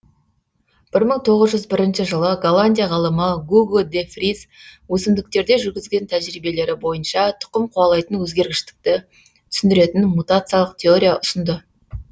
бір мың тоғыз жүз бірінші жылы голландия ғалымы гуго де фриз өсімдіктерде жүргізген тәжірибелері бойынша тұқым қуалайтын өзгергіштікті түсіндіретін мутациялық теория ұсынды